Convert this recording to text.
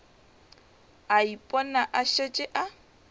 a ipona a šetše a